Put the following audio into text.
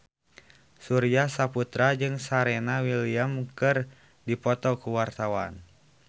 Surya Saputra jeung Serena Williams keur dipoto ku wartawan